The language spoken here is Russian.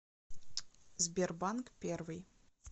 сбербанк первый